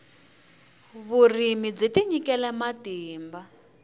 vurimi byi tinyikile matimba